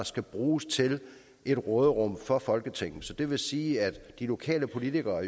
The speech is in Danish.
skal bruges til et råderum for folketinget det vil sige at de lokale politikere